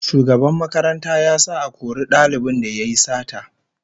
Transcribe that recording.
Shugaban makaranta ya sa a kori dalibin da yayi sata